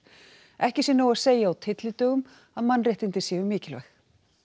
ekki sé nóg að segja á tyllidögum að mannréttindi séu mikilvæg